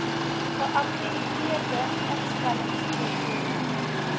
geakkrediteerde instelling voltooi